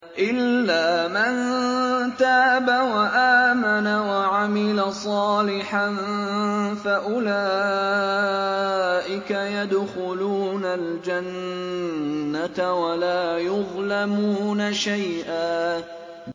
إِلَّا مَن تَابَ وَآمَنَ وَعَمِلَ صَالِحًا فَأُولَٰئِكَ يَدْخُلُونَ الْجَنَّةَ وَلَا يُظْلَمُونَ شَيْئًا